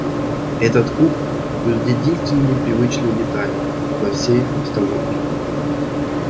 этот куб был единственной непривычной деталью во всей обстановке